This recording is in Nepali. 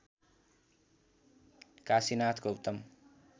काशीनाथ गौतम